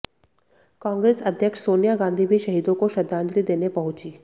कांग्रेस अध्यक्ष सोनिया गांधी भी शहीदों को श्रद्धांजलि देने पहुंचीं